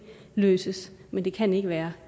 løses men det kan ikke være